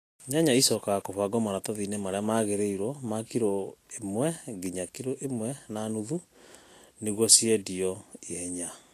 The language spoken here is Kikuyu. Nyanya icokaga kũbangwo maratathiinĩ marĩa magĩrĩirwo ma kilo 1-1.5 niguo ciendio na ihenya